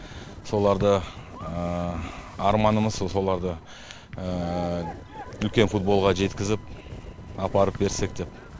соларды арманымыз соларды үлкен футболға жеткізіп апарып берсек деп